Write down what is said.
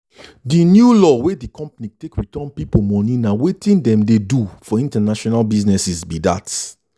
the new law wey the company take return people moneyna wetin dem dey do for international businesses be that.